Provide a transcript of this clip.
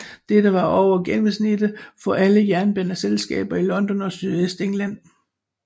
Dette var over gennemsnittet for alle jernbaneselskaber i London og Sydøstengland